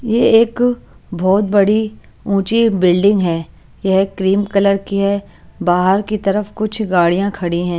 ये एक बहोत बड़ी ऊंची बिल्डिंग है ये क्रीम कलर की है बाहर की तरफ कुछ गाडियाँ खड़ी हैं।